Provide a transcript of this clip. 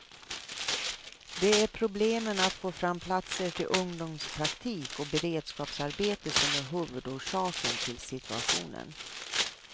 Det är problemen att få fram platser till ungdomspraktik och beredskapsarbete som är huvudorsaken till situationen.